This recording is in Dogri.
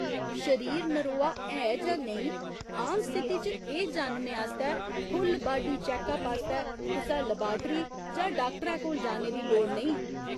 शरीर नरोआ है जां नेईं, आम स्थिति च एह् जानने आस्तै फुल बाडी चैक अप आस्तै कुसै लबारटी जां डाक्टरै कोल जाने दी लोड़ नेईं।